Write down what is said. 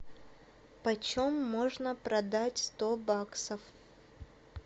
почем можно продать сто баксов